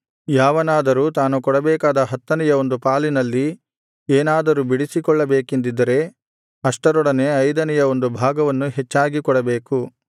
ಯಾವನಾದರೂ ತಾನು ಕೊಡಬೇಕಾದ ಹತ್ತನೆಯ ಒಂದು ಪಾಲಿನಲ್ಲಿ ಏನಾದರೂ ಬಿಡಿಸಿಕೊಳ್ಳಬೇಕೆಂದಿದ್ದರೆ ಅಷ್ಟರೊಡನೆ ಐದನೆಯ ಒಂದು ಭಾಗವನ್ನು ಹೆಚ್ಚಾಗಿ ಕೊಡಬೇಕು